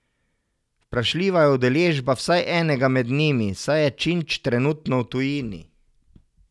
Vprašljiva je udeležba vsaj enega med njimi, saj je Činč trenutno v tujini.